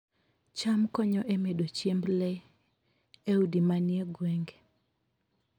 cham konyo e medo chiemb le e udi manie gwenge